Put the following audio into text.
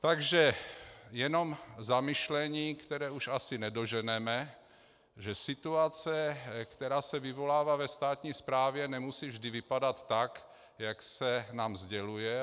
Takže jenom zamyšlení, které už asi nedoženeme, že situace, která se vyvolává ve státní správě, nemusí vždy vypadat tak, jak se nám sděluje.